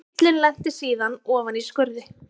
Bíllinn lenti síðan ofan í skurði